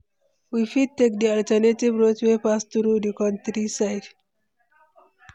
we fit take di alternative route wey pass through di countryside.